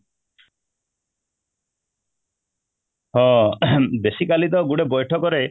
ହଁ, basically ତ ଗୋଟେ ବୈଠକ ରେ